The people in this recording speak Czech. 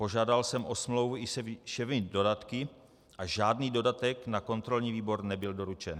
Požádal jsem o smlouvu i se všemi dodatky a žádný dodatek na kontrolní výbor nebyl doručen.